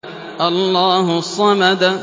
اللَّهُ الصَّمَدُ